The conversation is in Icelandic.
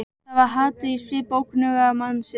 Það var hatur í svip ókunnuga mannsins.